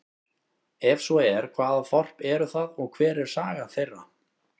Er svo er, hvaða þorp eru það og hver er saga þeirra?